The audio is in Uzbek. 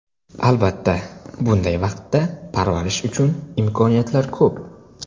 Albatta, bunday vaqtda parvarish uchun imkoniyatlar ko‘p.